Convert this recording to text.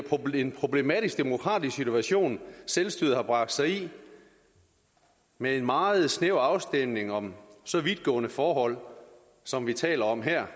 en problematisk demokratisk situation selvstyret har bragt sig i med en meget snæver afstemning om så vidtgående forhold som vi taler om her